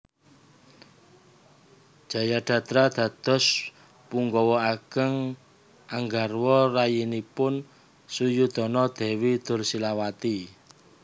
Jayadrata dados penggawa ageng nggarwa rayinipun Suyudana Dewi Dursilawati